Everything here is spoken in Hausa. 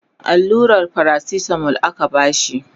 alluran paracetamol aka bashi